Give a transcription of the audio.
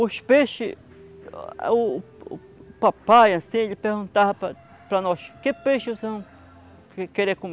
Os peixes, o papai, assim, ele perguntava para para nós, que peixe vocês vão querer comer?